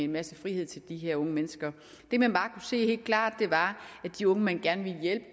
masse frihed til de her unge mennesker det man bare kunne se helt klart var at de unge man gerne ville